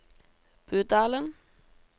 Budalen